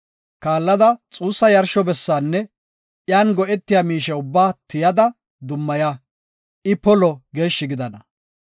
Kaallada, xuussa yarsho bessinne iyan go7etiya miishe ubbaa tiyada, dummaya; I polo geeshshi gidana.